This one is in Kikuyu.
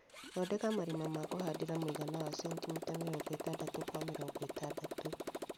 Thondeka marĩma ma kũhandira muigana wa centimita mirongo itandatu kwa mirongo itandatu kwa mirongo itandatu